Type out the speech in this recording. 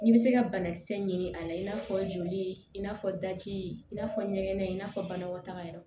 N'i bɛ se ka banakisɛ ɲini a la i n'a fɔ joli in n'a fɔ daji i n'a fɔ ɲɛgɛn i n'a fɔ banakɔtaga yɔrɔ